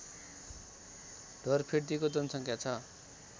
ढोरफिर्दीको जनसङ्ख्या छ